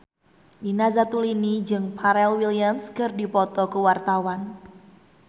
Nina Zatulini jeung Pharrell Williams keur dipoto ku wartawan